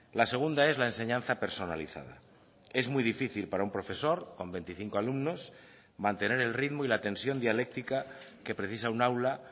la segunda es la enseñanza personalizada es muy difícil para un profesor con veinticinco alumnos mantener el ritmo y la tensión dialéctica que precisa un aula